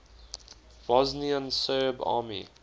bosnian serb army